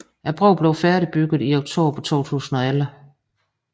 Broen blev færdigbygget i oktober 2011